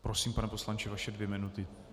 Prosím, pane poslanče, vaše dvě minuty.